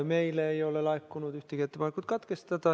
Meile ei ole laekunud ühtegi ettepanekut menetlus katkestada.